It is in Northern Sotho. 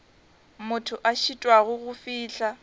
motho a šitwago go fihla